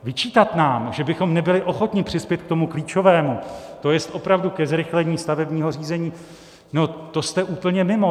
Vyčítat nám, že bychom nebyli ochotni přispět k tomu klíčovému, to je opravdu ke zrychlení stavebního řízení, no to jste úplně mimo.